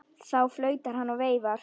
Þá flautar hann og veifar.